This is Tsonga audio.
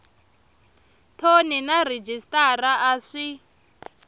thoni na rhejisitara a swi